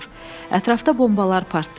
Ətrafda bombalar partlayır.